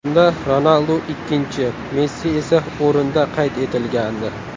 Unda Ronaldu ikkinchi, Messi esa o‘rinda qayd etilgandi .